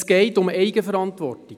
Es geht um Eigenverantwortung.